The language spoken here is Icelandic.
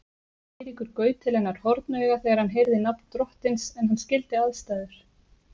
Eiríkur gaut til hennar hornauga þegar hann heyrði nafn drottins en hann skildi aðstæður.